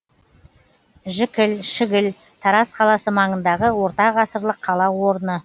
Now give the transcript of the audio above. жікіл шігіл тараз қаласы маңындағы ортағасырлық қала орны